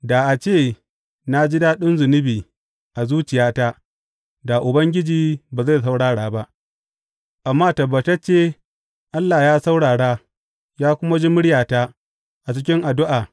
Da a ce na ji daɗin zunubi a zuciyata, da Ubangiji ba zai saurara ba; amma tabbatacce Allah ya saurara ya kuma ji muryata a cikin addu’a.